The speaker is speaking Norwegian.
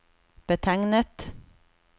betegnet